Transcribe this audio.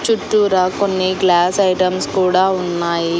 చుట్టూరా కొన్ని glass items కూడా ఉన్నాయి.